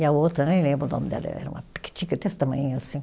E a outra, nem lembro o nome dela, era uma pequitica desse tamanhinho assim.